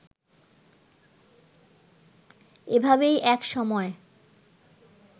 এভাবেই এক সময়